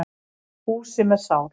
Húsi með sál.